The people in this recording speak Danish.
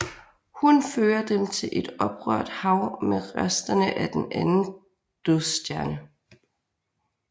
Hun fører dem til et oprørt hav med resterne af den anden dødsstjerne